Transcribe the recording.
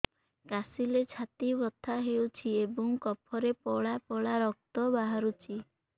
କାଶିଲେ ଛାତି ବଥା ହେଉଛି ଏବଂ କଫରେ ପଳା ପଳା ରକ୍ତ ବାହାରୁଚି